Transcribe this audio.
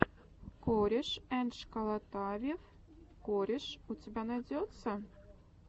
корешэндшколотавев кореш у тебя найдется